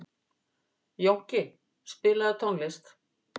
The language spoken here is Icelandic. Jónki, spilaðu tónlist.